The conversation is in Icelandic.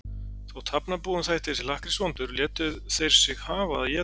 Þótt Hafnarbúum þætti þessi lakkrís vondur létu þeir sig hafa að éta hann.